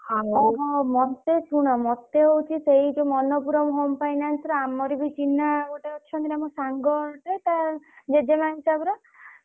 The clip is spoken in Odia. ଓହୋ। ମତେ ଶୁଣ ମତେ ହଉଛି ସେଇ ଯୋଉ ମନ୍ନପୂରମ୍ home finance ରେ ଆମର ବି ଚିହ୍ନା ଗୋଟେ ଅଛନ୍ତି ନା ମୋ ସାଙ୍ଗ ଗୋଟେ ତା ଜେଜେମା ହିସାବର।